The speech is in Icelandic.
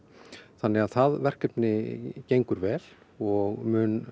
þannig að það verkefni gengur vel og mun